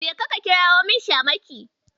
Jeka ka kirawo min Shamaki.